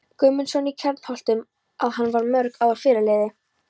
Guðmundsson í Kjarnholtum, að hann var um mörg ár fyrirliði